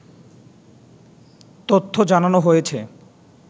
তথ্য জানানো হয়েছে